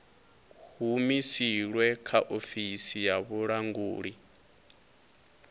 humusilwe kha ofisi ya vhulanguli